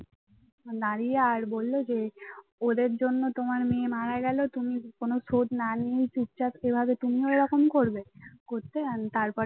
দাঁড়িয়ে আর বলল যে ওদের জন্য তোমার মেয়ে মারা গেল তুমি কোন শোধ না নিয়েই চুপচাপ এভাবে তুমিও এরকম করবে করতে তারপর এ